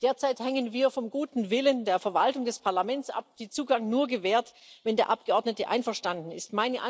Derzeit hängen wir vom guten Willen der Verwaltung des Parlaments ab, die Zugang nur gewährt, wenn der Abgeordnete einverstanden ist.